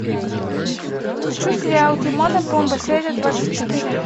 хочу сериал тимон и пумба серия двадцать четыре